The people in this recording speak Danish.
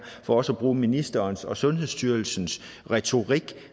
for også at bruge ministerens og sundhedsstyrelsens retorik